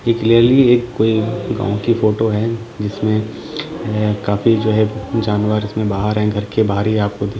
ये क्लेयरली एक कोई गांव की फोटो है जिसमें है काफी जो है जानवर जिसमें बाहर है घर के बाहर ही आपको --